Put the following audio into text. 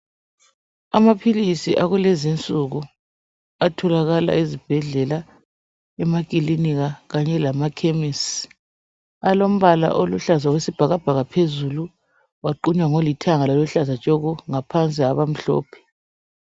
Amaphilisi akulezinsuku atholakala ezibhedlela, emakilinika kanye lamakhemisi alombala oluhlaza wesibhakabhaka phezulu waqunywa ngolithanga loluhlaza tshoko ngaphansi abamhlophe.